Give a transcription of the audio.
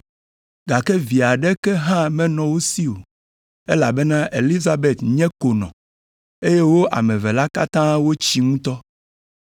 Gake vi aɖeke hã menɔ wo si o, elabena Elizabet nye konɔ, eye wo ame eve la katã wotsi ŋutɔ.